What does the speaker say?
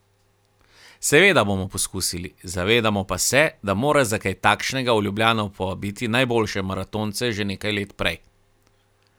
Seveda bomo poskusili, zavedamo pa se, da moraš za kaj takšnega v Ljubljano povabiti najboljše maratonce že nekaj let prej.